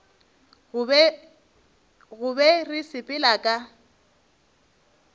go be re sepela ka